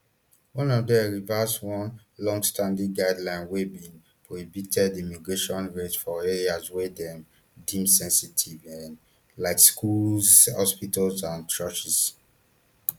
one of dem reverse one longstanding guideline wey bin prohibited immigration raids for areas wey dem deem sensitive um like schools hospitals and churches